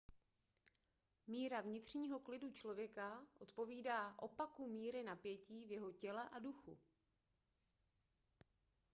míra vnitřního klidu člověka odpovídá opaku míry napětí v jeho těle a duchu